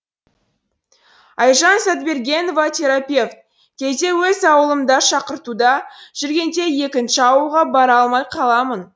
айжан сатбергенова терапевт кейде өз ауылымда шақыртуда жүргенде екінші ауылға бара алмай қаламын